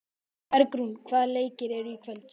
Bergrún, hvaða leikir eru í kvöld?